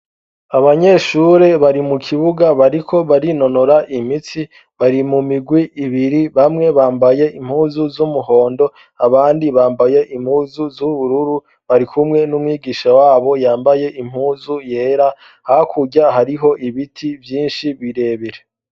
abanyeshure bari mukibuga bariko barinonora imitsi bari mumigwi ibiri bamwe bambaye impuzu z'umuhondo abandi bambaye impuzu z'ubururu bari kumwe n'umwigisha wabo yambaye impuzu yera hakurya hariho ibiti vyinshi birebire